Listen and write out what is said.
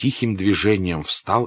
тихим движением встал